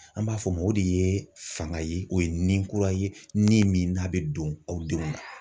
An b'a fɔ ma o de ye fanga ye o ye ni kura ye ni min n'a bɛ don aw denw na.